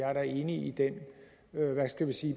er enig i den